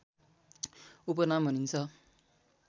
उपनाम भनिन्छ